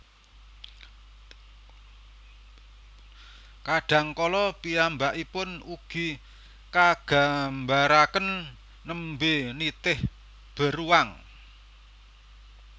Kadang kala piyambakipun ugi kagambaraken nembé nitih beruang